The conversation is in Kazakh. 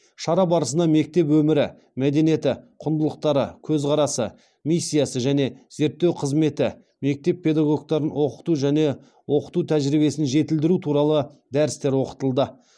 шара барысына мектеп өмірі мәдениеті құндылықтары көзқарасы миссиясы және зерттеу қызметі мектеп педагогтарын оқыту және оқыту тәжірибесін жетілдіру туралы дәрістер оқытылды